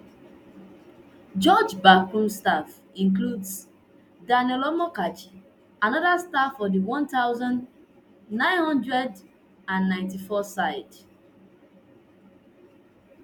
george backroom staff includes daniel amokachi anoda star of di one thousand, nine hundred and ninety-four side